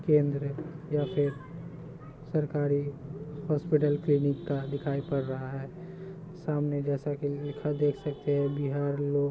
के अंदर है या फिर सरकारी हॉस्पिटल क्लिनिक का दिखाई पड़ रहा है सामने जैसा की लिखा देख सकते है बिहार लोक--